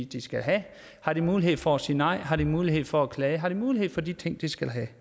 de skal have har de mulighed for at sige nej har de mulighed for at klage har de mulighed for de ting de skal have